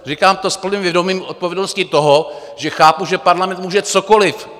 Říkám to s plným vědomím odpovědnosti toho, že chápu, že parlament může cokoli.